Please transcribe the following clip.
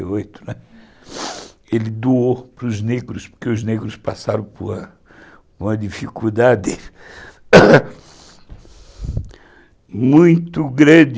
Ele doou para os negros, porque os negros passaram por uma dificuldade muito grande.